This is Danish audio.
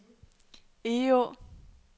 Egå